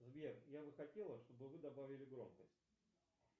сбер я бы хотела чтобы вы добавили громкость